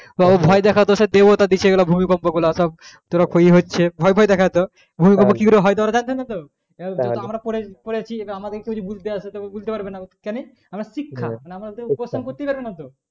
সেই ভয় দেখাতো সেই দেবতার দিছে এই ভূমিকম্প গুলা সব ভয় ভয় দেখাতো ভূমিকম্প কি করে হয় ওরা তো জানতো না আমরা পড়েছি আমরা জিজ্ঞাসা করলে কেনি আমরা শিক্ষা